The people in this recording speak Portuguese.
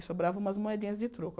E sobrava umas moedinhas de troco.